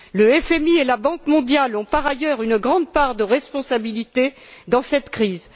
Le FMI et la Banque mondiale ont, par ailleurs, une grande part de responsabilité dans cette crise.